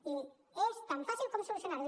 i és tan fàcil com solucionar ho